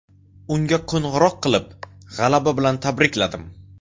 Unga qo‘ng‘iroq qilib, g‘alaba bilan tabrikladim.